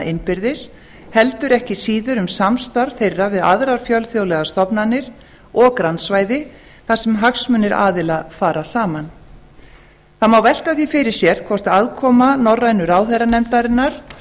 innbyrðis heldur ekki síður um samstarf þeirra við aðrar fjölþjóðlegar stofnanir og grannsvæði þar sem hagsmunir aðila fara saman það má velta því fyrir sér hvort aðkoma norrænu ráðherranefndarinnar